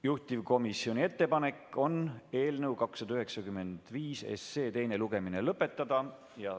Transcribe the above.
Juhtivkomisjoni ettepanek on eelnõu 295 teine lugemine lõpetada.